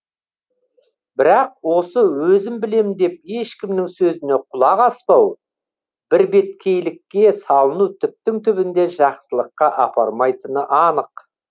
бірақ осы өзім білем деп ешкімнің сөзіне құлақ аспау бірбеткейлікке салыну түптің түбінде жақсылыққа апармайтыны анық